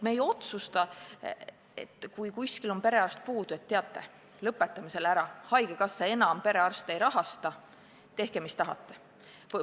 Ei ole nii, et kui kuskil on perearst puudu, siis otsustame, et teate, lõpetame selle ära, haigekassa enam perearste ei rahasta, tehke, mis tahate.